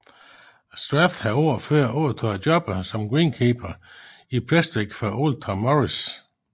Strath havde året før overtaget jobbet som greenkeeper i Prestwick fra Old Tom Morris